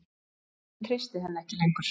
Þjóðin treysti henni ekki lengur.